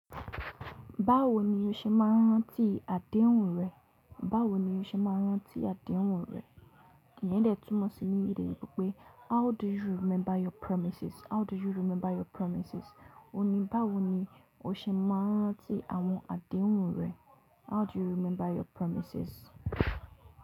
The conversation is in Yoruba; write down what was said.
Báwo ni o ṣe máa rántí àdéhùn rẹ? Báwo ni o ṣe máa rántí àdéhùn rẹ? Íyén túmọ̀ sí ní ede eyinbo pé how do you remember your promises? How do you remember your promises? Òní báwo ni o ṣe máa rántí àwọn àdéhùn rẹ? How do you remember your promises?